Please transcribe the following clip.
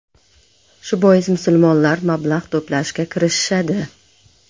Shu bois, musulmonlar mablag‘ to‘plashga kirishishadi.